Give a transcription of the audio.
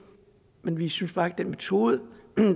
men vi synes bare ikke at den metode